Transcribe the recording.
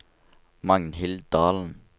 Magnhild Dalen